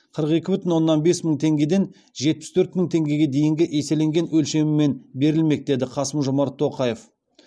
қырық екі бүтін оннан бес мың теңгеден жетпіс төрт мың теңгеге дейінгі еселенген өлшемімен берілмек деді қасым жомарт тоқаев